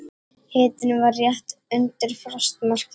Hitinn var rétt undir frostmarki.